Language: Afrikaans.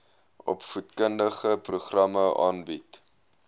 opvoedkundige programme aanbied